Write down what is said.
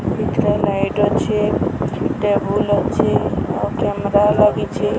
ଭିତର ଲାଇଟ ଅଛି ଟେବୁଲ ଅଛି ଆଉ କ୍ୟାମେରା ଲାଗିଛ।